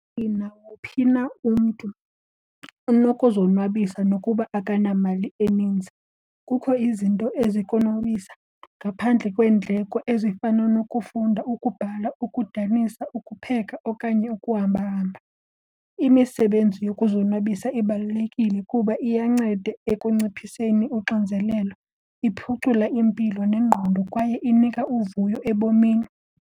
Nawuphi na umntu unokuzonwabisa nokuba akanamali eninzi. Kukho izinto ezikonwabisa ngaphandle kweendleko ezifana nokufunda, ukubhala, ukudanisa, ukupheka okanye ukuhambahamba. Imisebenzi yokuzonwabisa ibalulekile kuba iyanceda ekunciphiseni uxinzelelo, iphucula impilo nengqondo kwaye inika uvuyo ebomini.